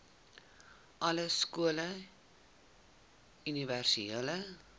alle skole universele